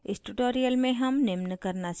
इस tutorial में हम निम्न करना सीखेंगे